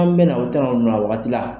bɛ na o tɛ na o na wagati la.